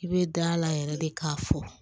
I bɛ da la yɛrɛ de k'a fɔ